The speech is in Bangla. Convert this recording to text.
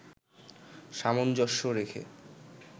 সামঞ্জস্য রেখে